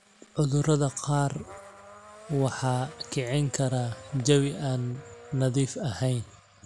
Cudurada qaar waxaa kicin kara jawi aan nadiif ahayn.